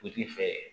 I k'i fɛ